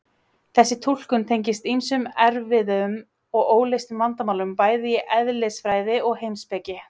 þessi túlkun tengist ýmsum erfiðum og óleystum vandamálum bæði í eðlisfræði og heimspeki